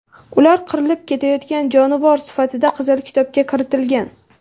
Ular qirilib ketayotgan jonivor sifatida Qizil kitobga kiritilgan.